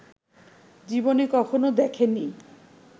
জীবনে কখনো দেখেনি